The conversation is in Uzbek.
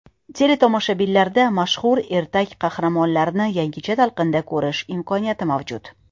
Teletomoshabinlar mashhur ertak qahramonlarini yangicha talqinda ko‘rish imkoniyatlari mavjud.